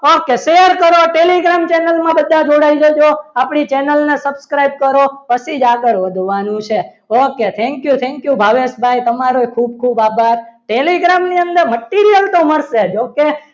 Okay share કરો telegram channel માં બધા જોડાઈ જજો આપણી channel ને subscribe કરો પછી જ આગળ વધવાનું છે okay thank you tank you Bhaveshbhai તમારો ખુબ ખુબ આભાર telegram ની અંદર material તો મળશે તો કે